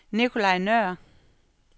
Nicolaj Nøhr